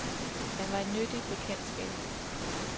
Han var et nyttigt bekendtskab.